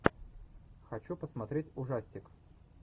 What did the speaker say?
хочу посмотреть ужастик